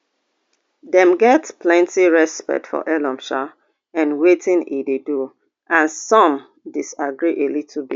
dem get plenty respect for elon um and wetin e dey do and some disagree a little bit